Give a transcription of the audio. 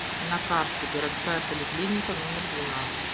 на карте городская поликлиника номер двенадцать